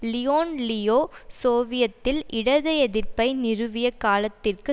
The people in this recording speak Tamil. லியோன் லியோ சோவியத்தில் இடது எதிர்ப்பை நிறுவிய காலத்திற்கு